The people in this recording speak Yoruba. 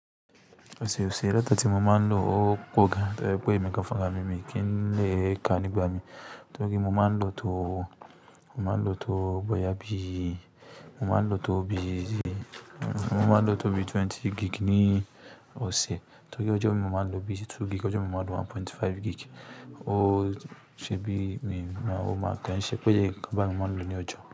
Ọ̀sẹ̀ ọ̀sẹ̀ ìyàtọ̀ ti mo ma ń lò ó pọ̀ gaan tójẹ́ wípé èmi gaan fúnrami kìí ma le kàá nií ìgbà míì. Torí mo máa ń lò tòó, mo máa ń lò tòó bóyá bíi, mo máa ń lò tòó bíi, mo máa ń lò tòó bíi twenty gig ní ọ̀sẹ̀. Torí ọjọ́ míì mo máa ń lò bíì sí two gig, ọjọ́ míì mo máa ń lò one point five gig. O ṣe bi mi ma o ma kò ń ṣe pé eye nńkan báì ni mo máa ń lò ní ọjọ́.